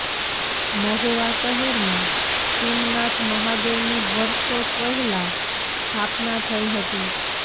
મહુવા શહેરમાં ખીમનાથ મહાદેવની વર્ષો પહેલા સ્થાપના થઈ હતી